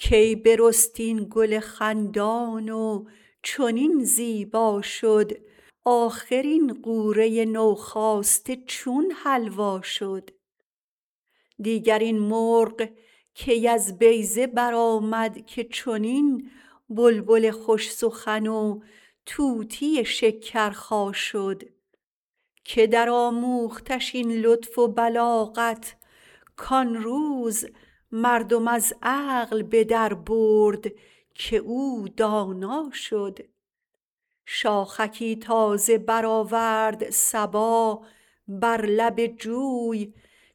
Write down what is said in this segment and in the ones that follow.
کی برست این گل خندان و چنین زیبا شد آخر این غوره نوخاسته چون حلوا شد دیگر این مرغ کی از بیضه برآمد که چنین بلبل خوش سخن و طوطی شکرخا شد که درآموختش این لطف و بلاغت کان روز مردم از عقل به دربرد که او دانا شد شاخکی تازه برآورد صبا بر لب جوی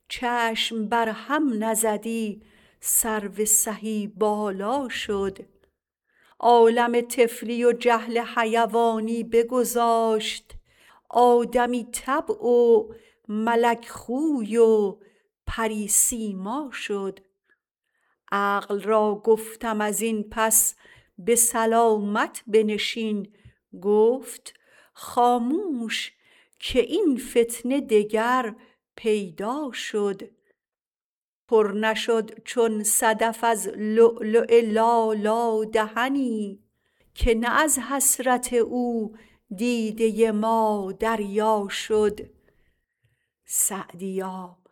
چشم بر هم نزدی سرو سهی بالا شد عالم طفلی و جهل حیوانی بگذاشت آدمی طبع و ملک خوی و پری سیما شد عقل را گفتم از این پس به سلامت بنشین گفت خاموش که این فتنه دگر پیدا شد پر نشد چون صدف از لؤلؤ لالا دهنی که نه از حسرت او دیده ما دریا شد سعدیا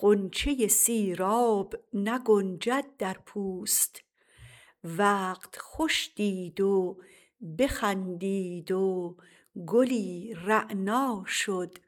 غنچه سیراب نگنجد در پوست وقت خوش دید و بخندید و گلی رعنا شد